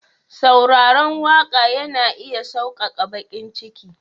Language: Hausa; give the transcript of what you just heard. sauraron waka yana iya sauƙaƙa baƙin ciki.